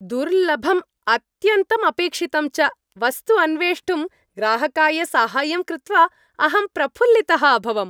दुर्लभम्, अत्यन्तम् अपेक्षितं च वस्तु अन्वेष्टुं ग्राहकाय साहाय्यं कृत्वा अहं प्रफुल्लितः अभवम्।